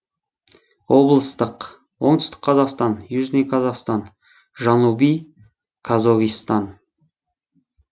облыстық оңтүстік қазақстан южный казахстан жанубий қозоғистан